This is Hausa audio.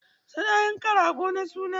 Su na yanka rago na suna.